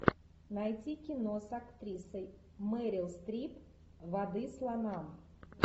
найти кино с актрисой мэрил стрип воды слонам